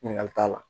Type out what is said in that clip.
Ɲininkali t'a la